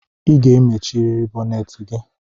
I ga-emechiriri bonneti gi!